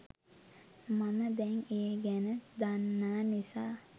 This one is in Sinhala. මම දැන් ඒ ගැන දන්නා නිසා